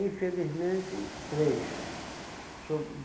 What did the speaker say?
Infelizmente, três. So